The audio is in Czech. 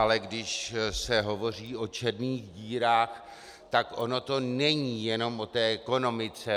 Ale když se hovoří o černých dírách, tak ono to není jenom o té ekonomice.